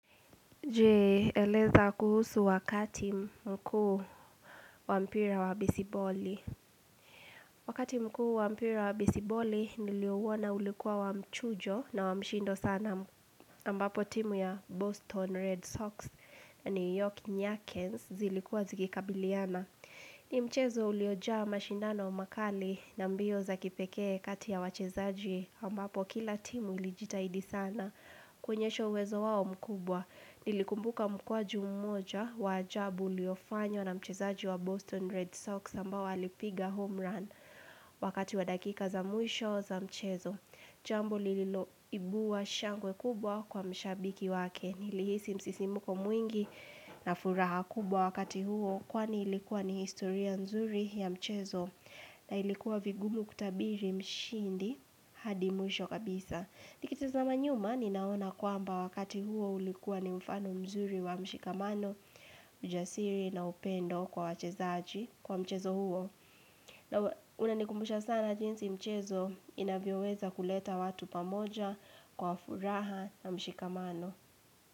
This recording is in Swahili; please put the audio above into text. Jee eleza kuhusu wakati mkuu wa mpira wa besiboli. Wakati mkuu wa mpira wa besiboli niliouona ulikuwa wa mchujo na wa mshindo sana. Ambapo timu ya Boston Red Sox na New York Newarkens zilikuwa zikikabiliana. Ni mchezo uliojaa mashindano makali na mbio za kipekee kati ya wachezaji. Ambapo kila timu ilijitahidi sana. Kuonyesha uwezo wao mkubwa Nilikumbuka mkwaju mmoja wa ajabu uliofanywa na mchezaji wa Boston Red Sox ambao walipiga home run Wakati wa dakika za mwisho za mchezo Jambo liloibua shangwe kubwa kwa mshabiki wake Nilihisi msisimuko mwingi na furaha kubwa wakati huo Kwani ilikuwa ni historia nzuri ya mchezo na ilikuwa vigumu kutabiri mshindi hadi mwisho kabisa Nikitizama nyuma ninaona kwamba wakati huo ulikuwa ni mfano mzuri wa mshikamano, ujasiri na upendo kwa wachezaji kwa mchezo huo. Na unanikumbusha sana jinsi mchezo inavyoweza kuleta watu pamoja kwa furaha na mshikamano.